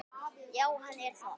Já, hann er það.